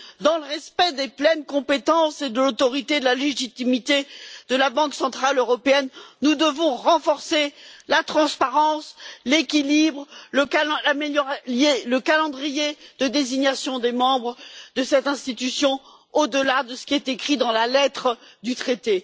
Dans le respect des pleines compétences et de l'autorité de la légitimité de la Banque centrale européenne, nous devons renforcer la transparence, l'équilibre, le calendrier de désignation des membres de cette institution, au delà de ce qui est écrit dans la lettre du traité.